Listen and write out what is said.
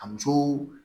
A muso